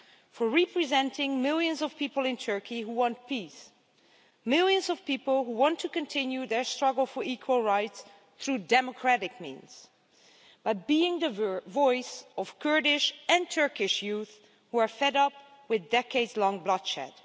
For representing millions of people in Turkey who want peace, millions of people who want to continue their struggle for equal rights through democratic means, and for being the voice of Kurdish and Turkish youth who are fed up with the decades long bloodshed.